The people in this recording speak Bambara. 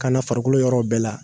Kana farikolo yɔrɔ bɛɛ la